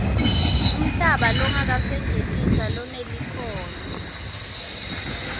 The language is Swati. umhlaba longakasetjentiswa lonelikhono